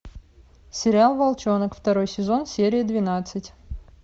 сериал волчонок второй сезон серия двенадцать